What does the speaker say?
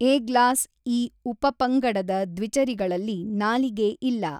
ಏಗ್ಲಾಸ್ ಈ ಉಪಪಂಗಡದ ದ್ವಿಚರಿಗಳಲ್ಲಿ ನಾಲಿಗೆ ಇಲ್ಲ.